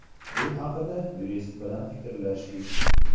Bu haqida yurist bilan fikrlashdik.